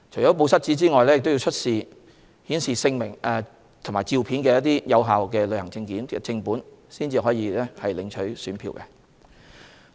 除"報失紙"外，選民亦要出示顯示姓名及相片的有效旅遊證件正本，方可領取選票。